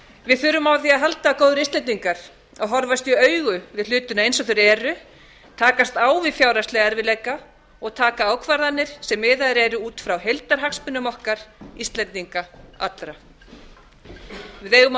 við þurfum á því að halda góðir íslendingar að horfast í augu við hlutina eins og þeir eru takast á við fjárhagslega erfiðleika og taka ákvarðanir sem miðaðar eru út frá heildarhagsmunum okkar íslendinga allra við eigum að horfa á